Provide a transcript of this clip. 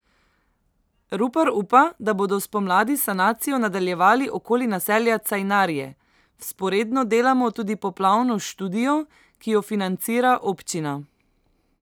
Rupar upa, da bodo spomladi sanacijo nadaljevali okoli naselja Cajnarje: "Vzporedno delamo tudi poplavno študijo, ki jo financira občina.